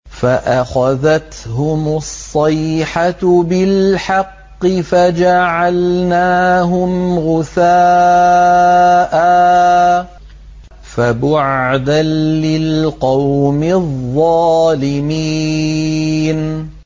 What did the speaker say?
فَأَخَذَتْهُمُ الصَّيْحَةُ بِالْحَقِّ فَجَعَلْنَاهُمْ غُثَاءً ۚ فَبُعْدًا لِّلْقَوْمِ الظَّالِمِينَ